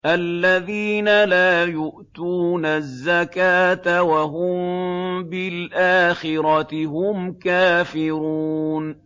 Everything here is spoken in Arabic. الَّذِينَ لَا يُؤْتُونَ الزَّكَاةَ وَهُم بِالْآخِرَةِ هُمْ كَافِرُونَ